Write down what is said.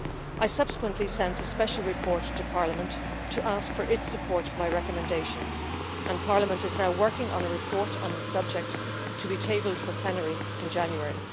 I subsequently sent a special report to Parliament to ask for its support for my recommendations, and Parliament is now working on a report on this subject to be tabled for plenary in January.